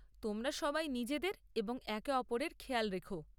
তোমরা সবাই নিজেদের এবং একে অপরের খেয়াল রেখ।